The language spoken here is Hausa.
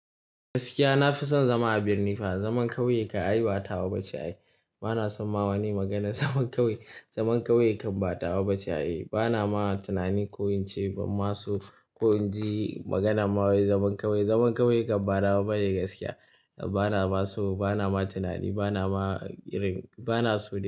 Gaskiya na fi son zama a birni fa. Zaman ƙauye kam ai ba tawa bace ai. Ba na san ma wane maganan zaman ƙauye, zaman ƙauye kan batawa bace ai. Ba na ma tunani ko in ce ban ma so ko in ji maganar ma wai zaman ƙauye. Zaman ƙauye kan ba nawa bane gaskiya. Ba na ma so, ba na ma tunani, ba na ma irin, ba na so dai.